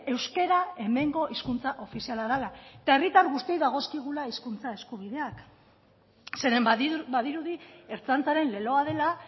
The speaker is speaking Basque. euskara hemengo hizkuntza ofiziala dela eta herritar guztioi dagozkigula hizkuntza eskubideak zeren badirudi ertzaintzaren leloa dela